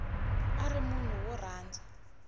a ri munhu wo rhandza